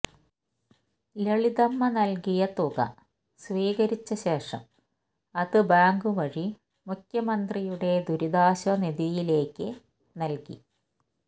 ലളിതമ്മ നൽകിയ തുക സ്വീകരിച്ചശേഷം അത് ബാങ്ക് വഴി മുഖ്യമന്ത്രിയുടെ ദുരിതാശ്വാസ നിധിയിലേക്ക് നൽകി